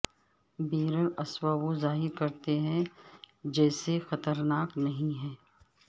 بیرراسوا وہ ظاہر کرتے ہیں جیسے خطرناک نہیں ہیں